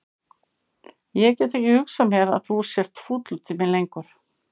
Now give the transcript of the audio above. Ég get ekki hugsað mér að þú sért fúll út í mig lengur.